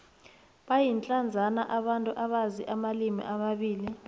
bayindlandzana abantu abazi amalimi amabili